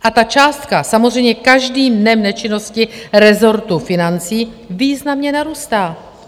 A ta částka samozřejmě každým dnem nečinnosti rezortu financí významně narůstá.